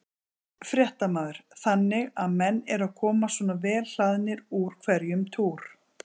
Fréttamaður: Þannig að menn eru að koma svona vel hlaðnir úr hverjum túr?